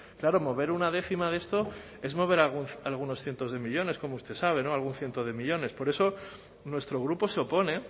claro mover una décima de esto es mover algunos cientos de millónes como usted sabe algún ciento de millónes por eso nuestro grupo se opone